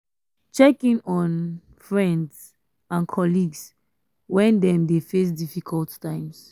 check in on um friends um and colleagues when dem dey face difficult times